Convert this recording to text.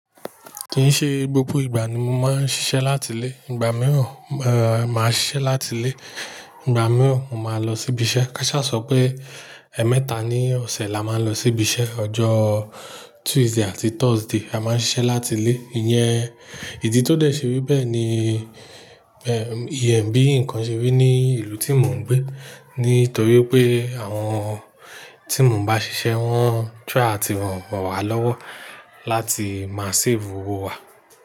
Kìí ṣe gbogbo ìgbà ni mo máa ń ṣiṣẹ́ láti ilé. Ìgbà mìíràn, eh, màá ṣiṣẹ́ láti ilé. Ìgbà mìíràn, mo ma lọ sí ibi iṣẹ́. Káṣà sọ pé ẹ̀ẹ̀mẹta ní ọ̀sẹ̀ la máa ń lọ sí ibi iṣẹ́. Ọjọ́ Tuesday àti Thursday, a máa ń ṣiṣẹ́ láti ilé. Iyẹn, ìdí tó dẹ̀ ṣe rí bẹ́ẹ̀ ni, eh, ìyẹn bí ǹkan ṣe rí ní ìlú tí mò ń gbé. Nítorí pé àwọn tí mò ń bá ṣiṣẹ́, wọ́n try àti ràn wá lọ́wọ́ láti máa save owó wa.